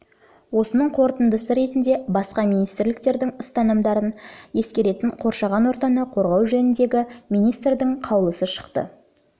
осының қорытындысы ретінде басқа министрліктердің ұсынымдарын ескеретін қоршаған ортаны қорғау жөніндегі министрдің қаулысы шықты мамырдағы